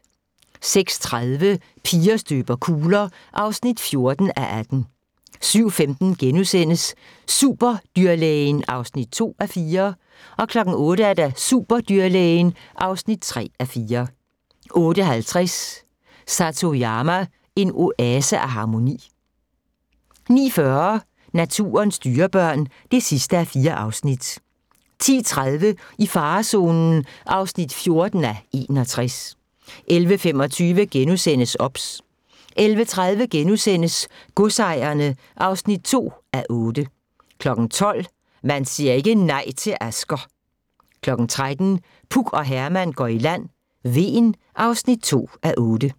06:30: Piger støber kugler (14:18) 07:15: Superdyrlægen (2:4)* 08:00: Superdyrlægen (3:4) 08:50: Satoyama – en oase af harmoni 09:40: Naturens dyrebørn (4:4) 10:30: I farezonen (14:61) 11:25: OBS * 11:30: Godsejerne (2:8)* 12:00: Man siger ikke nej til Asger! 13:00: Puk og Herman går i land: Hven (2:8)